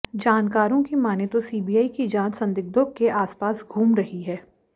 जानकारों की मानें तो सीबीआई की जांच संदिग्धों के आसपास घूम रही है